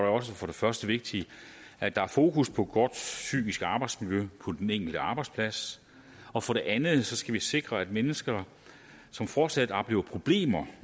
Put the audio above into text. også for det første vigtigt at der er fokus på et godt psykisk arbejdsmiljø på den enkelte arbejdsplads og for det andet skal vi sikre at mennesker som fortsat oplever problemer